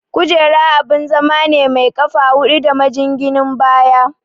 Kujera abun zama ne mai ƙafa hudu da majinginin baya.